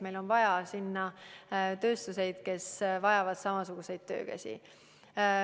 Meil on vaja sinna tööstuseid, kes vajavad samasuguseid töökäsi.